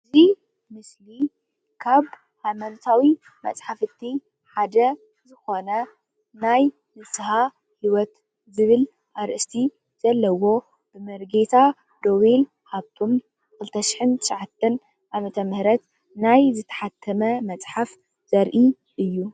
እዚ ምስሊ ሃይማኖት ክርስትና መፅሓፍ እንትኸው መፅሓፍ ንስኀ ሂወት እዩ።